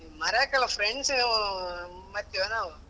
ಹೇ ಮರೆಕಿಲ್ಲ friends ಮರಿತಿವ ನಾವು.